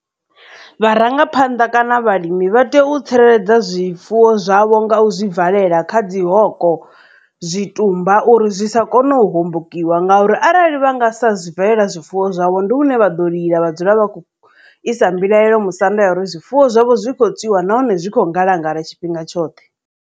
Vharangaphanḓa kana vhalimi vha tea u tsireledza zwifuwo zwavho nga u zwi valela kha dzi hoko zwitumba uri zwi sa kone u hombokiwa ngauri arali vha nga sa zwi valela zwifuwo zwavho ndi hune vha ḓo lila vha dzula vha isa mbilaelo musanda ya uri zwifuwo zwavho zwi to tswiwa nahone zwi kho ngalangala tshifhinga tshoṱhe.